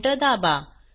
enter दाबा